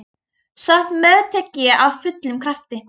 Samt meðtek ég af fullum krafti.